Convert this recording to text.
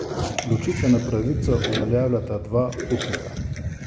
Ločitveno pravico uveljavljata dva upnika.